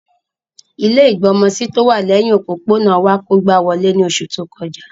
Ilẹ́ ìgbọmọsí tówà lẹhin òpópónà wa kógba wolé ni oṣu to kọja.